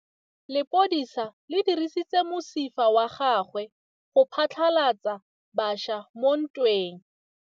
Lepodisa le dirisitse mosifa wa gagwe go phatlalatsa batšha mo ntweng.